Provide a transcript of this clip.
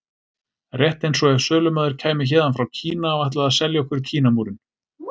Rétt eins og ef sölumaður kæmi héðan frá Kína og ætlaði að selja okkur Kínamúrinn.